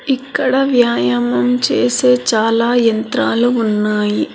ఇక్కడ వ్యాయామం చేసే చాలా యంత్రాలు ఉన్నాయి.